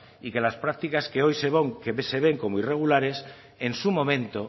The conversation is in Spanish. y que las prácticas que hoy se ven como irregulares en su momento